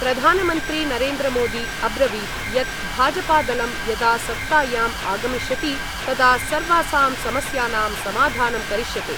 प्रधानमंत्री नरेन्द्रमोदी अब्रवीत् यत् भाजपादलं यदा सत्तायाम् आगमिष्यति तदा सर्वासां समस्यानां समाधानं करिष्यते।